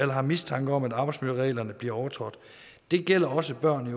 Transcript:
har mistanke om at arbejdsmiljøreglerne bliver overtrådt det gælder også børn i